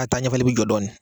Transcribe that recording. a taaɲɛfɛli bi jɔ dɔɔnin.